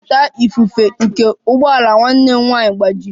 ọta ifufe nke ụgbọ ala nwanne m nwanyị gbajiri